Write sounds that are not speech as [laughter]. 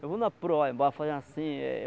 Eu vou na proa [unintelligible] fazendo assim eh...